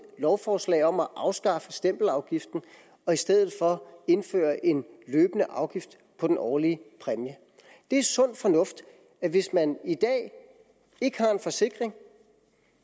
lovforslag om at afskaffe stempelafgiften og i stedet for indføre en løbende afgift på den årlige præmie det er sund fornuft at hvis man i dag ikke har en forsikring